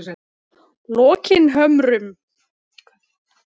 Lokinhömrum